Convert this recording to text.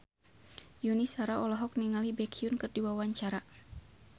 Yuni Shara olohok ningali Baekhyun keur diwawancara